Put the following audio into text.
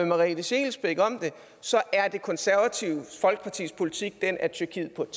merete scheelsbeck om det så er det konservative folkepartis politik den at tyrkiet på et